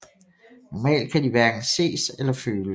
Normalt kan de hverken ses eller føles